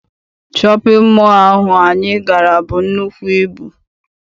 Shọpịn mọọ ahụ anyị gara buru nnukwu ibu.